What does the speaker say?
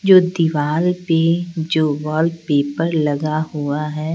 जो दीवार पे जो वॉलपेपर लगा हुआ--